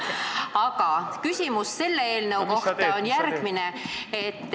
Aga küsimus selle eelnõu kohta on järgmine.